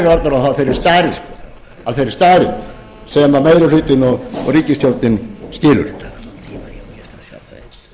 eru þær orðnar af þeirri stærð sem meiri hlutinn og ríkisstjórnin skilur herra